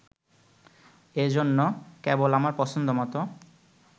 এজন্য, কেবল আমার পছন্দ মত